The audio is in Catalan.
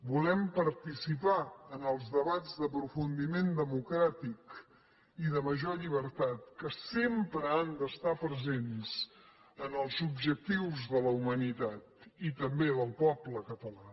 volem participar en els debats d’aprofundiment democràtic i de major llibertat que sempre han d’estar presents en els objectius de la humanitat i també del poble català